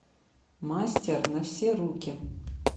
мастер на все руки